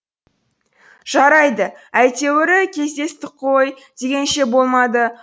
жарайды әйтеуірі кездестік қой дегенше болмады